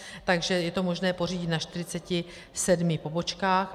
Takže je to možné pořídit na 47 pobočkách.